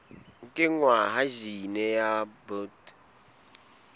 kenngwa ha jine ya bt